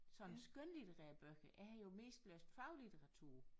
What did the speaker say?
Sådan skønlitterære bøger jeg har jo mest læst faglitteratur